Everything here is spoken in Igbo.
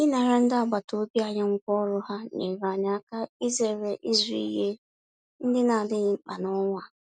Ịnara ndị agbataobi anyị ngwá ọrụ ha, nyeere anyị aka izere ịzụ ihe ndị n'adịghị mkpa n'ọnwa a